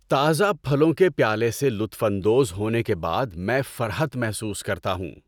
تازہ پھلوں کے پیالے سے لطف اندوز ہونے کے بعد میں فرحت محسوس کرتا ہوں۔